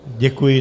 Děkuji.